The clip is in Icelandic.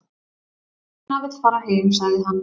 """Ína vill fara heim, sagði hann."""